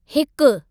हिकु